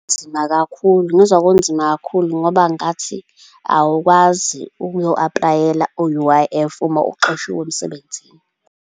Kunzima kakhulu, ngizwa kunzima kakhulu ngoba ngathi awukwazi ukuyo-apply-ela u-U_I_F uma uxoshiwe emsebenzini.